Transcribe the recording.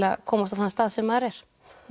að komast á þann stað sem maður er